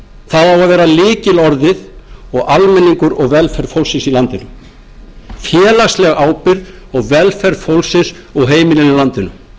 að vera lykilorðið og almenningur og velferð fólksins í landinu félagsleg ábyrgð og velferð fólksins og heimilanna í landinu